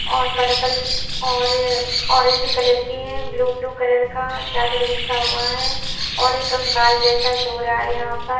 और पर्पल और orange colour के हैं ब्लू ब्लू कलर का चादर बिछा हुआ है और एक कंकाल जैसा सो रहा है यहां पर।